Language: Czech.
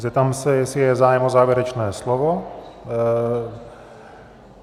Zeptám se, jestli je zájem o závěrečné slovo.